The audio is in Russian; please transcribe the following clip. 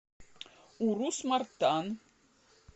урус мартан